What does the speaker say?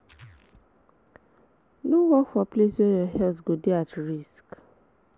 No work for place where your health go de at risk